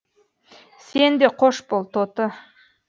сен де қош бол тоты